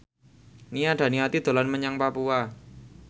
Nia Daniati dolan menyang Papua